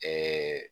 Ɛɛ